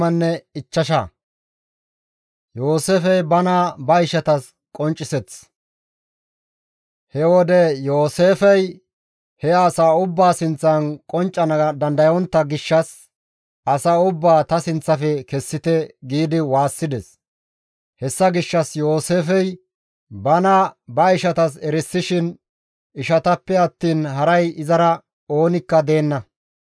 He wode Yooseefey he asaa ubbaa sinththan genccana dandayontta gishshas, «Asa ubbaa ta sinththafe kessite» gi waassides. Hessa gishshas Yooseefey bana ba ishatas erisishin ishatappe attiin haray izara oonikka deenna.